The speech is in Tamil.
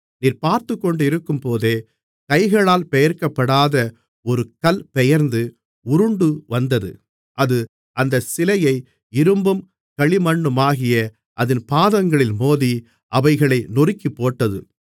நீர் பார்த்துக்கொண்டிருக்கும்போதே கைகளால் பெயர்க்கப்படாத ஒரு கல் பெயர்ந்து உருண்டுவந்தது அது அந்தச் சிலையை இரும்பும் களிமண்ணுமாகிய அதின் பாதங்களில் மோதி அவைகளை நொறுக்கிப்போட்டது